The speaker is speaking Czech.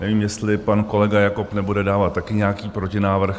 Nevím, jestli pan kolega Jakob nebude dávat taky nějaký protinávrh.